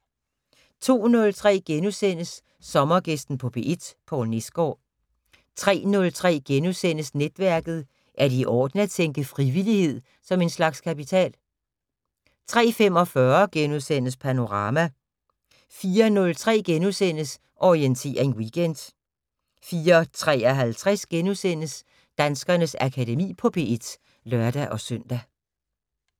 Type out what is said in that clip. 02:03: Sommergæsten på P1: Poul Nesgaard * 03:03: Netværket: Er det i orden at tænke frivillighed som en slags kapital? * 03:45: Panorama * 04:03: Orientering Weekend * 04:53: Danskernes Akademi på P1 *(lør-søn)